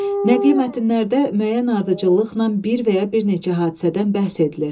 Nəqli mətnlərdə müəyyən ardıcıllıqla bir və ya bir neçə hadisədən bəhs edilir.